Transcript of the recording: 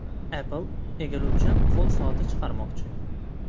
Apple egiluvchan qo‘l soati chiqarmoqchi.